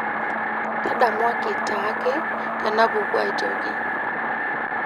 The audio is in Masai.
tadamuaki taaake tenapuku ae toki